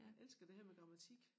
Jeg elsker det her med grammatik